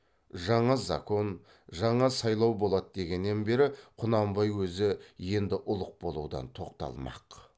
жаңа закон жаңа сайлау болады дегеннен бері құнанбай өзі енді ұлық болудан тоқталмақ